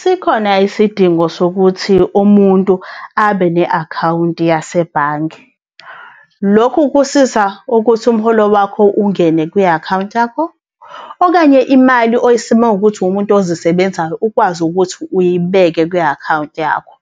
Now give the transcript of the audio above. Sikhona isidingo sokuthi umuntu abe ne-akhawunti yasebhange. Lokhu kusiza ukuthi umholo wakho ungene kwi-akhawunti yakho, okanye imali uma kuwukuthi uwumuntu ozisebenzayo ukwazi ukuthi uyibeke ku-akhawunti yakho.